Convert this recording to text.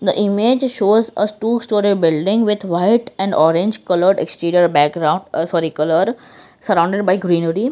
image shows a two storey building with white and orange coloured exterior background ah sorry colour sorrounded by greenery.